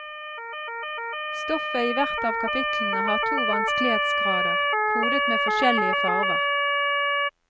Stoffet i hvert av kapitlene har to vanskelighetsgrader, kodet med forskjellige farver.